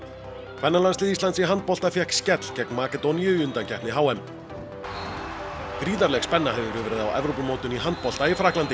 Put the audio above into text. kvennalandslið Íslands í handbolta fékk skell gegn Makedóníu í undankeppni h m gríðarleg spenna hefur verið á Evrópumótinu í handbolta í Frakklandi